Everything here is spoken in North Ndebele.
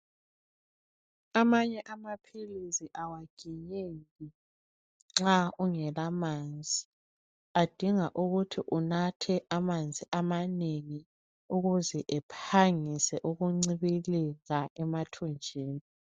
Amanye amaphilisi awaginyeki nxa ungela manzi adinga ukuthi unathe amanzi amanengi ukuze ephangise ukuncibilika emathunjini .